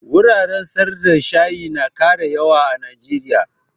Wuraren sayar da shayi na ƙara yawa a najeriya